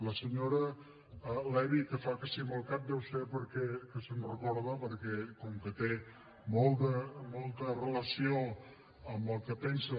la senyora levy que fa que sí amb el cap deu ser perquè se’n recorda perquè com que té molta relació amb el que pensen